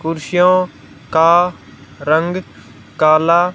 कुर्सियों का रंग काला--